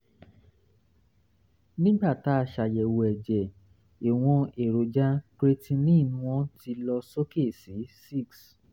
nígbà tá a ṣàyẹ̀wò ẹ̀jẹ̀ ìwọ̀n èròjà creatinine wọ́n ti lọ sókè sí six